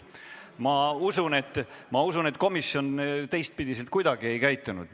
Ma usun, et teistpidi komisjon kuidagi ei käitunud.